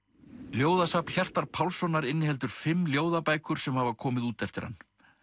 ljóðasafn Hjartar Pálssonar inniheldur fimm ljóðabækur sem hafa komið út eftir hann